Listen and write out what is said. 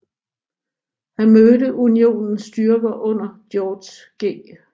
Han mødte Unionens styrker under George G